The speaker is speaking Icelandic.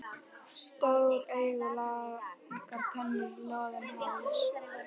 Stór augu, langar tennur, loðinn háls.